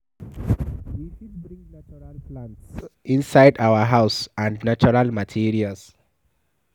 We fit bring natural plants inside our house and natural materials